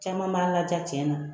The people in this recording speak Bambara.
Caman b'an laja cɛn na.